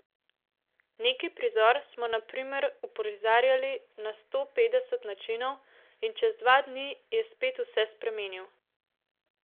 Neki prizor smo na primer uprizarjali na sto petdeset načinov in čez dva dni je spet vse spremenil.